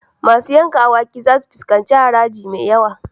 Masu yanka awaki zasu fuskanci haraji mai yawa.